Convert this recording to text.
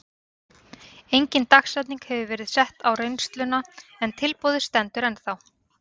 Engin dagsetning hefur verið sett á reynsluna en tilboðið stendur ennþá.